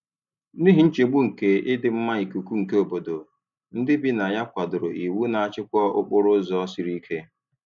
N'ihi nchegbu nke ịdị mma ikuku nke obodo, ndị bi na ya kwadoro iwu na-achịkwa okporo ụzọ sịrị ike.